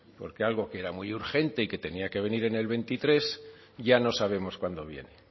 porque algo que era muy urgente y que tenía que venir en el veintitrés ya no sabemos cuándo viene